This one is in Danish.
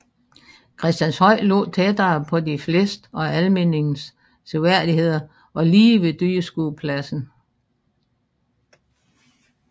Christianshøj lå tættere på de fleste af Almindingens seværdigheder og lige ved dyrskuepladsen